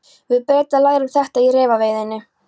Við Bretar lærum þetta í refaveiðinni.